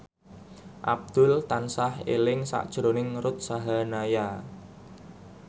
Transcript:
Abdul tansah eling sakjroning Ruth Sahanaya